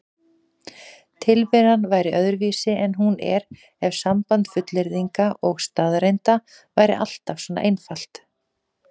Tilveran væri öðruvísi en hún er ef samband fullyrðinga og staðreynda væri alltaf svona einfalt.